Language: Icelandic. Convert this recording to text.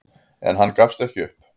En hann gefst ekki upp.